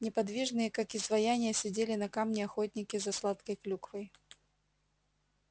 неподвижные как изваяния сидели на камне охотники за сладкой клюквой